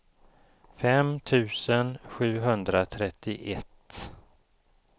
fem tusen sjuhundratrettioett